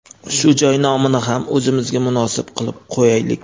shu joy nomini ham o‘zimizga munosib qilib qo‘yaylik.